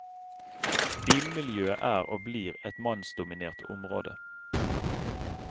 Bilmiljøet er og blir et mannsdominert område.